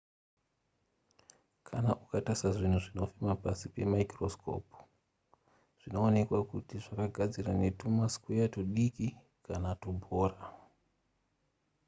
kana ukatarisa zvinhu zvinofema pasi pemaikorosikopu zvinoonekwa kuti zvakagadzirwa netumasikweya tudiki kana tubhora